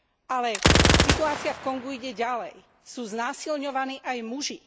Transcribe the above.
Ale situácia v Kongu ide ďalej, sú znásilňovaní aj muži.